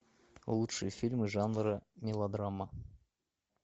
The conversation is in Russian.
лучшие фильмы жанра мелодрама